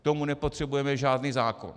K tomu nepotřebujeme žádný zákon.